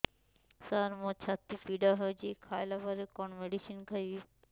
ସାର ମୋର ଛାତି ପୀଡା ହଉଚି ଖାଇବା ପରେ କଣ ମେଡିସିନ ଖାଇବି